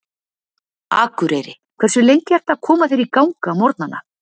Akureyri Hversu lengi ertu að koma þér í gang á morgnanna?